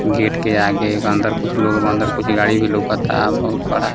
Gate के आगे अंदर कुछ लोग बा अंदर कुछ गाड़ी भी लोकाता बहुत बड़ा।